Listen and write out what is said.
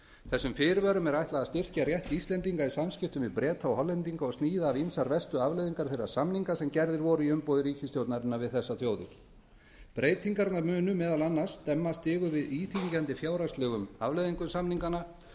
þessum fyrirvörum er ætlað að styrkja rétt íslendinga í samskiptum við breta og hollendinga og sníða af ýmsar verstu afleiðingar þeirra samninga sem gerðir voru í umboði ríkisstjórnarinnar við þessar þjóðir breytingarnar munu meðal annars stemma stigu við íþyngjandi fjárhagslegum afleiðingum samninganna